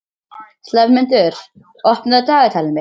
slefmundur, opnaðu dagatalið mitt.